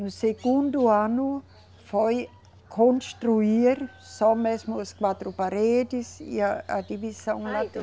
No segundo ano foi construir só mesmo as quatro paredes e a, a divisão lá